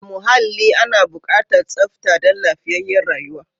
A muhalli ana bukatar tsafta dan lafiyayyar rayuwa.